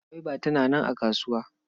Gwaiba tana nan a kasuwa.